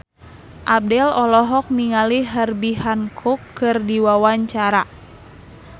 Abdel olohok ningali Herbie Hancock keur diwawancara